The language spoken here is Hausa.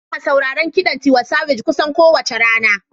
Ina sauraron kiɗan Tiwa Savage kusan kowace rana.